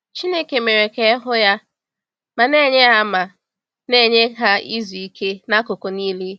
Chineke “mere ka e hụ ya” ma “na-enye ha ma “na-enye ha izu ike n’akụkụ niile.”